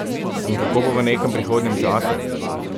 In kako bo v nekem prihodnjem času?